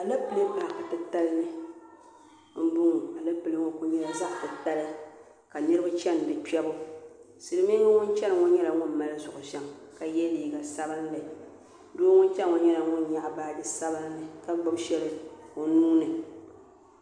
Alepile paaki titali ni m-bɔŋɔ alepile ŋɔ kuli nyɛla zaɣ' titali ka niriba chani di kpiɛbu silimiiŋɡa ŋun chani ŋɔ nyɛla ŋun mali zuɣ' viɛŋ ka ye liiɡa sabinli doo ŋun chani ŋɔ nyɛla ŋun nyaɣi baaji sabinli ka ɡbubi shɛli o nuu ni